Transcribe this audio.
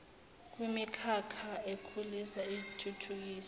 kwimikhakha ekhulisa ithuthukise